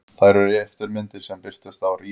Þær eru eftirmyndir sem birtast í rými.